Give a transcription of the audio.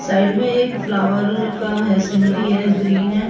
Side में एक flower का है सीनरी है ग्रीन है।